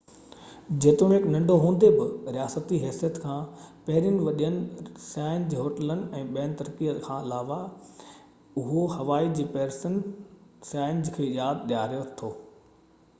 جيتوڻڪ ننڍو هوندي بہ رياستي حيثيت کان پهرين وڏين سياهن جي هوٽلن ۽ ٻي ترقي کان علاوه اهو هوائي جي پيرسن سياحن جي ياد ڏياري ٿو